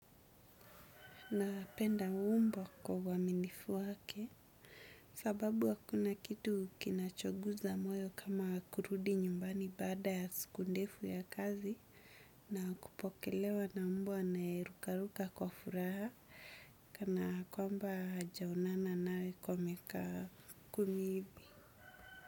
Napenda umbo kwa uaminifu wake sababu hakuna kitu kinachoguza moyo kama kurudi nyumbani baada ya siku ndefu ya kazi na kupokelewa na mbwa naye rukaruka kwa furaha kwamba hajaonana nawe kwa miaka kumi hivi.